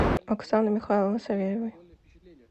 оксаны михайловны савельевой